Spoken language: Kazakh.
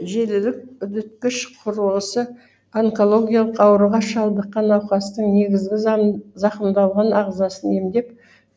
желілік үдеткіш құрылғысы онкологиялық ауруға шалдыққан науқастың негізгі зақымданған ағзасын емдеп